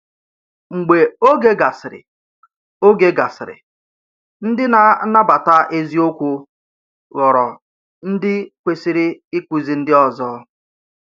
Mgbe oge gasịrị, oge gasịrị, ndị na-anabata eziokwu ghọrọ ndị kwesịrị ịkụzi ndị ọzọ.